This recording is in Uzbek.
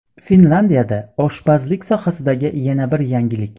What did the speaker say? Finlandiyada oshpazlik sohasidagi yana bir yangilik.